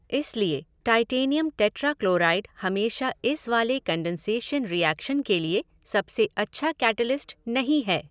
इसलिए titanium tetrachloride हमेशा इस वाले कन्डेन्सेशन रीऐक्शन के लिए सबसे अच्छा कैटेलिस्ट नहीं है।